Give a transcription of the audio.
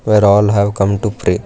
Where all have come to pray.